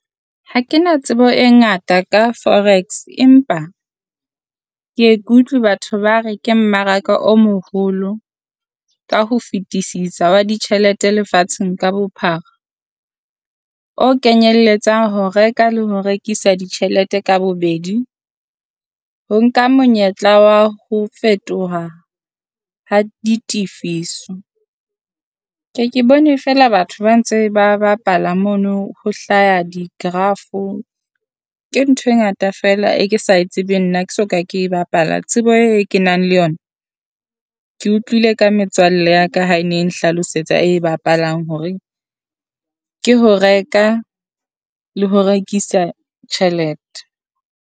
Ha ke na tsebo e ngata ka forex, empa ke e kutlwi batho ba re ke mmaraka o moholo ka ho fetisisa wa ditjhelete lefatsheng ka bophara. O kenyelletsa ho reka le ho rekisa ditjhelete ka bobedi, ho nka monyetla wa ho fetoha ha di tifiso. Ke ke bone feela batho ba ntse ba bapala mono ho hlaha di graph-o, ke ntho e ngata feela e ke sa e tsebeng nna ke so ka ke e bapala. Tsebo eo e kenang le yona ke utlwile ka metswalle ya ka ha e ne e nhlalosetsa e e bapalang hore ke ho reka le ho rekisa tjhelete.